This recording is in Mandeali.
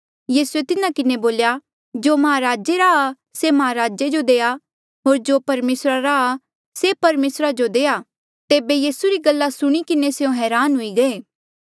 यीसूए तिन्हा किन्हें बोल्या जो महाराजे रा आ से महाराजे जो देआ होर जो परमेसरा रा आ से परमेसरा जो देआ तेबे यीसू री गला सुणी किन्हें स्यों हरान हुए गई